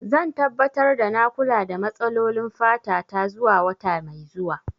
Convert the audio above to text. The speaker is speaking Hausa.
Zan tabbatar da na kula da matsalolin fata ta zuwa wata mai zuwa.